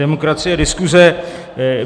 Demokracie, diskuse.